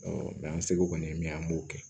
an segu kɔni ye min ye an b'o kɛ